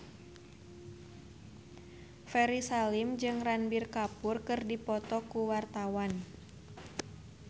Ferry Salim jeung Ranbir Kapoor keur dipoto ku wartawan